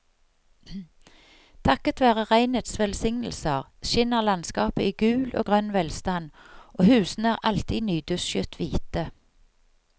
Takket være regnets velsignelser skinner landskapet i gul og grønn velstand og husene er alltid nydusjet hvite.